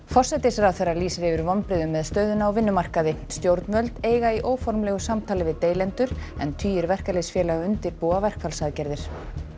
forsætisráðherra lýsir yfir vonbrigðum með stöðuna á vinnumarkaði stjórnvöld eiga í óformlegu samtali við deilendur en tugir verkalýðsfélaga undirbúa verkfallsaðgerðir